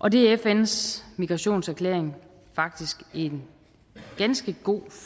og det er fns migrationserklæring faktisk en ganske god